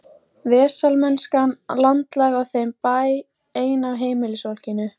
Vesalmennskan landlæg á þeim bæ, ein af heimilisfólkinu.